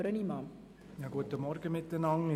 Ich kann es kurz machen.